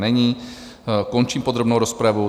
Není, končím podrobnou rozpravu.